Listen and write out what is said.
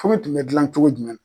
Furu tun bɛ gilan cogo jumɛn la